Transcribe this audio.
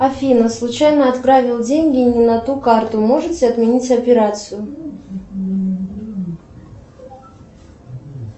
афина случайно отправил деньги не на ту карту можете отменить операцию